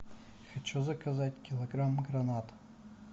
хочу заказать килограмм гранат